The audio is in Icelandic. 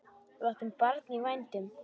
Við áttum barn í vændum.